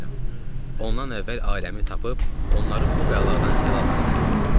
Ondan əvvəl ailəmi tapıb, onları bu bəladan xilas eləməliydim.